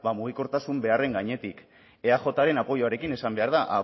mugikortasun beharren gainetik eajren apoyoarekin esan behar da